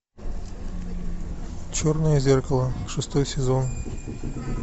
черное зеркало шестой сезон